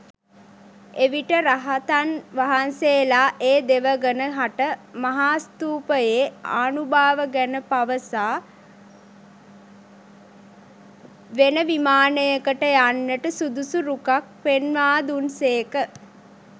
එවිට රහතන් වහන්සේලා ඒ දෙවඟන හට මහාස්ථූපයේ ආනුභාව ගැන පවසා වෙන විමානයකට යන්නට සුදුසු රුකක් පෙන්වා දුන් සේක.